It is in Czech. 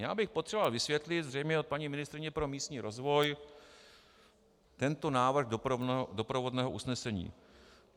Já bych potřeboval vysvětlit zřejmě od paní ministryně pro místní rozvoj tento návrh doprovodného usnesení: